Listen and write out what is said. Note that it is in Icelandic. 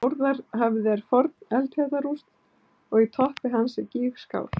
Þórðarhöfði er forn eldfjallarúst og í toppi hans er gígskál.